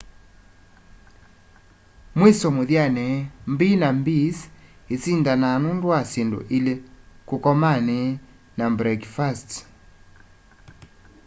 mwiso muthyani b&bs isindanaa nundu wa syindu ili kukomani na mbrekifasti